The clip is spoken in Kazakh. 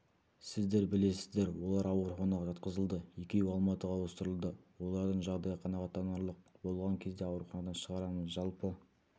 сіздер білесіздер олар ауруханаға жатқызылды екеуі алматыға ауыстырылды олардың жағдайы қанағаттанарлық болған кезде ауруханадан шығарамыз жалпы